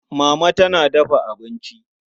Mama tana dafa abinci.